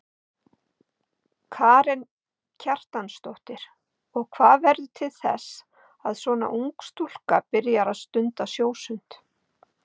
Karen Kjartansdóttir: Og hvað verður til þess að svona ung stúlka byrjar að stunda sjósund?